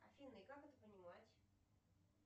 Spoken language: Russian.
афина и как это понимать